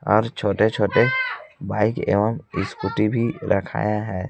और छोटे छोटे बाइक एवं स्कूटी भी रखाया है।